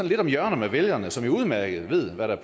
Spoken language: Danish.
lidt om hjørner med vælgerne som jo udmærket ved hvad der